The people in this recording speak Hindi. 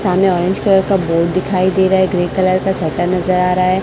सामने ऑरेंज कलर का बोर्ड दिखाई दे रहा है ग्रे कलर का शटर नजर आ रहा है।